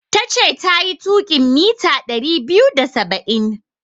Tace tayi tuƙin mita ɗari biyu da saba'in.